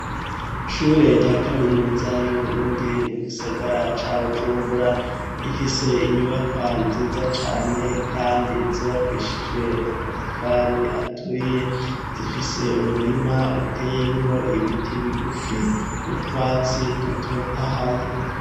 Ishure rya kaminuza y'uburundi mu gisagara ca bujumbura rifise inyubakwa nziza cane, kandi zubakishijwe amatavari aturiye zifise umurima uteyemwo ibiti bigufi n'utwatsi dutotahaye.